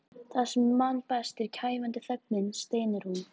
Það sem ég man best er kæfandi þögnin, stynur hún.